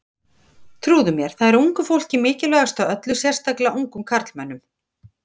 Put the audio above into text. Trúðu mér, það er ungu fólki mikilvægast af öllu, sérstaklega ungum karlmönnum.